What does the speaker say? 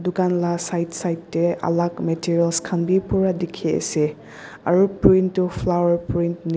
dukan lah side side teh alag meterials khan bhi pura dikhi ase aru print tu flower print ni--